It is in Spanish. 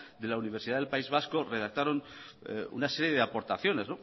de la universidad del país vasco redactaron una serie de aportaciones